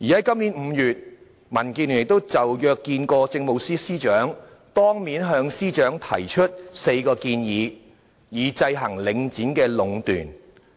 今年5月，民建聯約見政務司司長，當面向司長提出4項建議，以制衡領展壟斷。